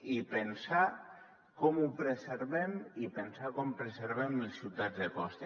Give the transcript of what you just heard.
i pensar com ho preservem i pensar com preservem les ciutats de costa